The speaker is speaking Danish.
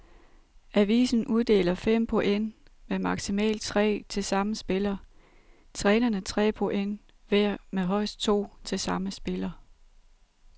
Avisen uddeler fem point med maksimalt tre til samme spiller, trænerne tre point hver med højst to til samme spiller.